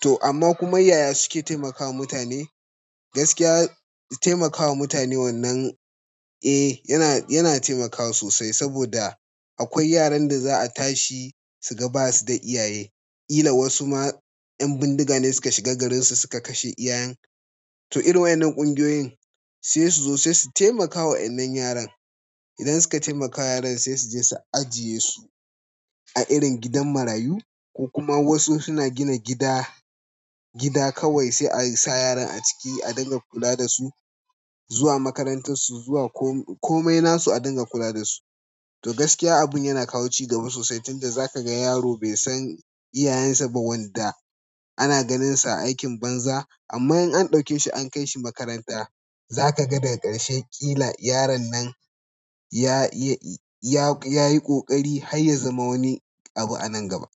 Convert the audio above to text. To amma kuma yaya suke taimakawa mutane? Gaskiya su taimakawa mutane wannan, eh yana, yana taimakawa sosai saboda akwai yaran da za a tashi su ga basu da iyaye. Ila wasu ma ƴan bindiga ne suka shiga garinsu suka kashe iyayen. To irin waɗannan ƙungiyoyin sai su zo sai su taimakawa wannan yaran. Idan suka taimakawa yaran sai su je su ajiye su a irin gidan marayu ko kuma wasu suna gina gida, gida kawai sai a sa yaran a ciki a dinga kula da su, zuwa makarantar su, zuwa ko-komai nasu a dinga kula da su. To gaskiya abun yana kawo cigaba sosai tunda za ka ga yaro bai san iyayen sa ba wanda ana ganinsa a aikin banza. Amma in an ɗauke shi an kai shi makaranta za ka ga daga ƙarshe ƙila yaron nan ya, ya, ya yi ƙoƙari har ya zama wani abu a nan gaba.